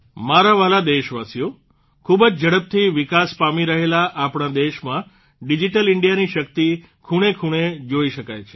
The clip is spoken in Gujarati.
મારા વ્હાલા દેશવાસીઓ ખૂબ જ ઝડપથી વિકાસ પામી રહેલા આપણા દેશમાં ડીજીટલ ઇન્ડિયાની શક્તિ ખૂણેખૂણે જોઇ શકાય છે